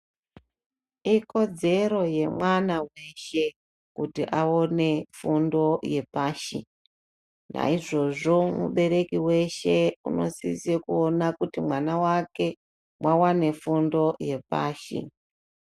Ikodzero yemwana weshe kuti awane fundo yepashi. Nayizvozvo, mubereki weshe unosise kuwona kuti mwana wake wawane fundo yepashi.